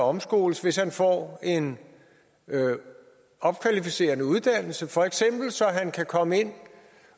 omskoles hvis han får en opkvalificerende uddannelse for eksempel så han kan komme ind